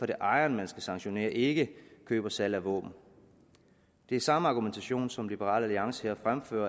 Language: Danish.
det ejeren man skal sanktionere og ikke køb og salg af våben det er samme argumentation som liberal alliance her fremfører